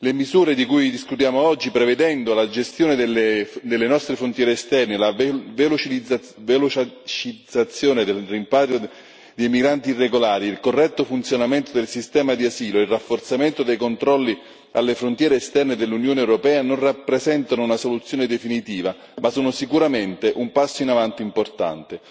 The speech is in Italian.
Le misure di cui discutiamo oggi, prevedendo la gestione delle nostre frontiere esterne e la velocizzazione del rimpatrio dei migranti irregolari e il corretto funzionamento del sistema di asilo e il rafforzamento dei controlli alle frontiere esterne dell'Unione europea non rappresentano una soluzione definitiva, ma sono sicuramente un passo in avanti importante.